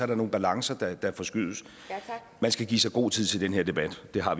der nogle balancer der forskydes man skal give sig god tid til den her debat det har